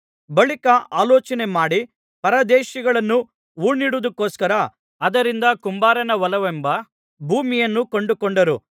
ಬಳಿಕ ಆಲೋಚನೆಮಾಡಿ ಪರದೇಶಿಗಳನ್ನು ಹೂಣಿಡುವುದಕ್ಕೋಸ್ಕರ ಅದರಿಂದ ಕುಂಬಾರನ ಹೊಲವೆಂಬ ಭೂಮಿಯನ್ನು ಕೊಂಡುಕೊಂಡರು